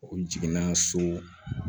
O jiginna so